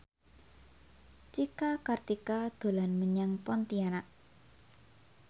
Cika Kartika dolan menyang Pontianak